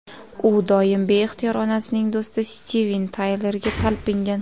U doim beixtiyor onasining do‘sti Stiven Taylerga talpingan.